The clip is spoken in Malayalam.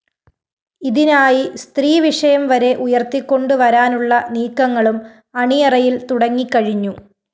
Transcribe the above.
ഇതിനായി സ്ത്രീവിഷയം വരെ ഉയര്‍ത്തികൊണ്ടു വരാനുള്ള നീക്കങ്ങളും അണിയറയില്‍ തുടങ്ങിക്കഴിഞ്ഞു